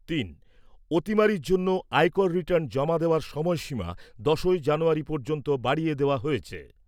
তিন। অতিমারির জন্য আয়কর রিটার্ন জমা দেওয়ার সময়সীমা দশই জানুয়ারী পর্যন্ত বাড়িয়ে দেওয়া হয়েছে।